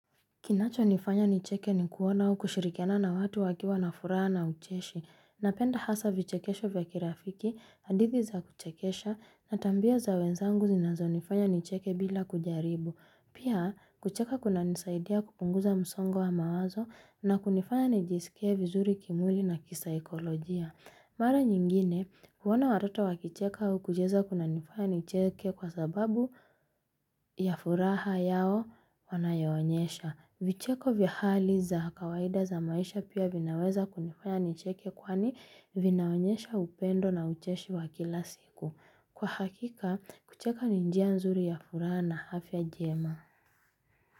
Kinacho nifanya nicheke ni kuona au kushirikiana na watu wakiwa na furaha na ucheshi. Napenda hasa vichekesho vya kirafiki, hadithi za kuchekesha na tabia za wenzangu zinazonifanya nicheke bila kujaribu. Pia, kucheka kunanisaidia kupunguza msongo wa mawazo na kunifanya nijisikie vizuri kimwili na kisaikolojia. Mara nyingine, kuona watoto wakicheka au kucheza kunanifanya nicheke kwa sababu ya furaha yao wanayoonesha. Vicheko vya hali za kawaida za maisha pia vinaweza kunifanya nicheke kwani vinaonesha upendo na ucheshi wa kila siku. Kwa hakika, kucheka ni njia nzuri ya furaha na afya njema.